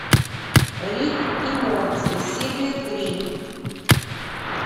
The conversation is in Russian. рик и морти серия три